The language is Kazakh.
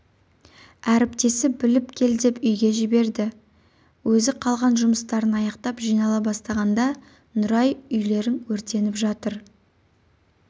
әріптесі біліп келдеп үйге жіберді де өзі қалған жұмыстарын аяқтап жинала бастағанда нұрай үйлерің өртеніп жатыр